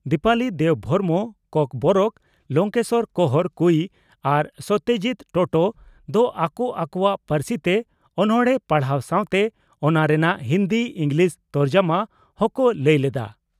ᱫᱤᱯᱟᱞᱤ ᱫᱮᱵᱽᱵᱷᱚᱨᱢᱚ (ᱠᱚᱠᱵᱚᱨᱚᱠ) ᱞᱚᱝᱠᱮᱥᱚᱨ ᱠᱚᱸᱦᱚᱨ (ᱠᱩᱭᱤ) ᱟᱨ ᱥᱚᱛᱭᱚᱡᱤᱛ ᱴᱚᱴᱚ (ᱴᱚᱴᱚ) ᱫᱚ ᱟᱠᱚ ᱟᱠᱚᱣᱟᱜ ᱯᱟᱹᱨᱥᱤᱛᱮ ᱚᱱᱚᱬᱦᱮ ᱯᱟᱲᱦᱟᱣ ᱥᱟᱣᱛᱮ ᱚᱱᱟ ᱨᱮᱱᱟᱜ ᱦᱤᱱᱫᱤ/ᱤᱸᱜᱽᱞᱤᱥ ᱛᱚᱨᱡᱚᱢᱟ ᱦᱚᱸᱠᱚ ᱞᱟᱹᱭ ᱞᱮᱰᱼᱟ ᱾